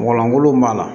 Mɔgɔ golo b'a la